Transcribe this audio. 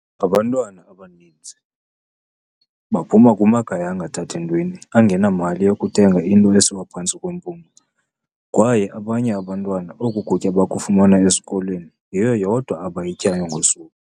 "Abantwana abaninzi baphuma kumakhaya angathathi ntweni, angenamali yokuthenga into esiwa phantsi kwempumlo, kwaye abanye abantwana oku kutya bakufumana esikolweni, yiyo yodwa abayityayo ngosuku."